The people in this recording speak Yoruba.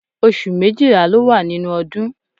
Oṣù méjìlá ló wà nínú ọdún